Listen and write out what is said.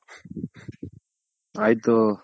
ಆಯ್ತು